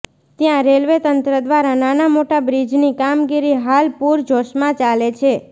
ત્યાં રેલવે તંત્ર દ્વારા નાના મોટા બ્રિજની કામગીરી હાલ પુરજોશમાં ચાલે છે